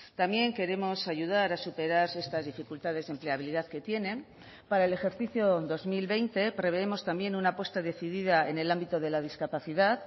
también queremos ayudar a superar estas dificultades de empleabilidad que tienen para el ejercicio dos mil veinte prevemos también una apuesta decidida en el ámbito de la discapacidad